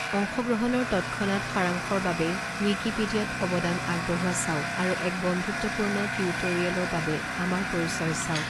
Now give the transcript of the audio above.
অংশগ্ৰহণৰ তৎক্ষনাত সাৰাংশৰ বাবে, ৱিকিপিডিয়াত অৱদান আগবঢ়োৱা চাওক, আৰু এক বন্ধুত্বপূৰ্ণ টিউটোৰিয়েলৰ বাবে, আমাৰ পৰিচয় চাওক।